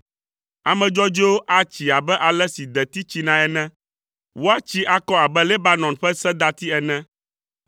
Ame dzɔdzɔewo atsi abe ale si deti tsinae ene, woatsi akɔ abe Lebanon ƒe sedati ene;